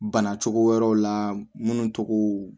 Bana cogo wɛrɛw la minnu tɔgɔ